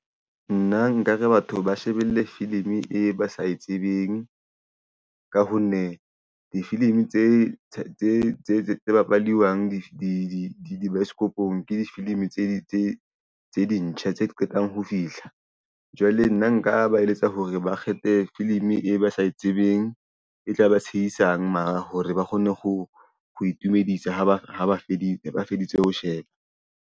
Nna nkare batho ba shebelle filim-i e ba sa e tsebeng. Ka ho nne difilimi tse bapalwang di baesekopong ke di-filim-i tse ntjha tse qetang ho fihla jwale nna nka ba eletsa hore ba kgethe filim-i e ba sa e tsebeng. E tla ba tshehisang mara hore ba kgone ho itumedisa ho ba ha ba feditse ho sheba.